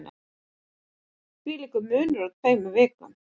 Þvílíkur munur á tveimur vikum